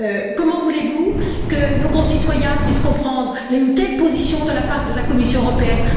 Comment voulez vous que nos concitoyens puissent comprendre une telle position de la part de la Commission européenne?